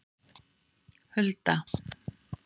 Hulda